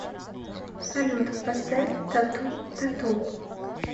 салют поставь тату т а т у